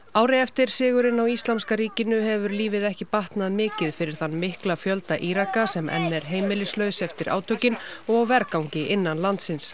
ári eftir sigurinn á Íslamska ríkinu hefur lífið ekki batnað mikið fyrir þann mikla fjölda Íraka sem enn er heimilislaus eftir átökin og á vergangi innan landsins